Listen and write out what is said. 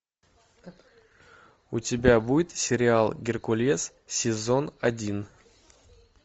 у тебя будет сериал геркулес сезон один